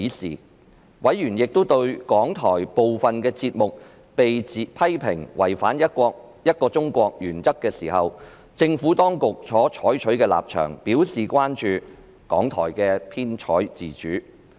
此外，因應港台部分節目被批評違反"一個中國"原則時政府當局所採取的立場，委員亦對港台的編採自主表示關注。